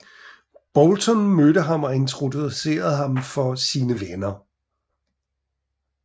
Boulton mødte ham og introducerede ham for sine venner